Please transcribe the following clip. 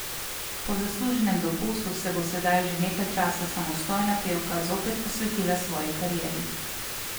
Po zasluženem dopustu se bo sedaj že nekaj časa samostojna pevka zopet posvetila svoji karieri.